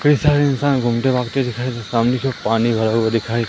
कही सारे इंसान घूमते भागते दिखाई सामने की ओर पानी भरा हुआ दिखाई--